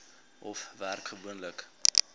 hof werk gewoonlik